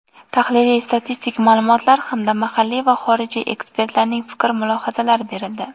tahliliy-statistik ma’lumotlar hamda mahalliy va xorijiy ekspertlarning fikr-mulohazalari berildi.